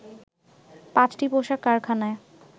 ৫টি পোশাক কারখানায়